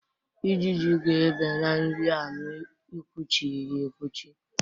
Ijiji ga-ebe na nri a ma i kwuchighi ya ekwuchi.